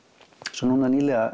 svo núna nýlega